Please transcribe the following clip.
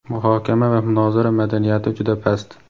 Muhokama va munozara madaniyati juda past.